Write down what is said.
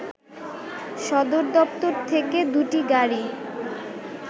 সদরদপ্তর থেকে দুটি গাড়ি